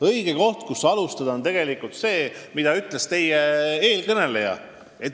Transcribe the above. Õige koht, kust alustada, on tegelikult see, millele viitas enne teid sõna võtnu.